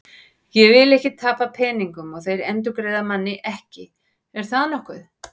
Ég vil ekki tapa peningum og þeir endurgreiða manni ekki, er það nokkuð?